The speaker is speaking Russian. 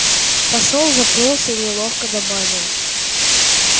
посол запнулся и неловко добавил